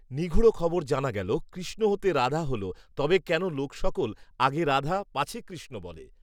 নিগূঢ়খবর জানা গেল, কৃষ্ণ হতে রাধা হলো, তবে কেন লোক সকল, আগে রাধা পাছে কৃষ্ণ বলে